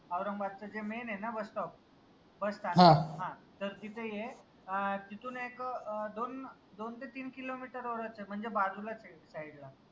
औरंगाबादच जे main आहे ना bus stop बस हां त तिथ ये अं तिथून एक अं दोन दोन ते तीन किलोमीटर वरच ए म्हनजे बाजूलाच ए side ला